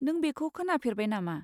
नों बेखौ खोनाफेरबाय नामा?